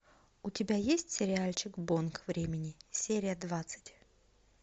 у тебя есть сериальчик бонг времени серия двадцать